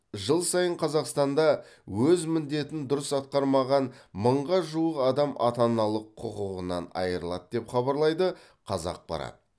жыл сайын қазақстанда өз міндетін дұрыс атқармаған мыңға жуық адам ата аналық құқығынан айырылады деп хабарлайды қазақпарат